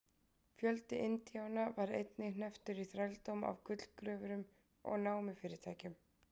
fjöldi indíána var einnig hnepptur í þrældóm af gullgröfurum og námufyrirtækjum